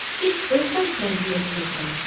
Siz öz vəzifənizi yerinə yetirin, müşavir.